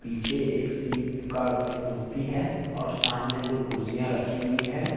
पीछे एक सीप का मूर्ति है और सामने दो कुर्सियां रखी हुई है ।